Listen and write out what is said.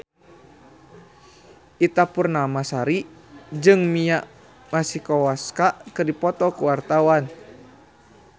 Ita Purnamasari jeung Mia Masikowska keur dipoto ku wartawan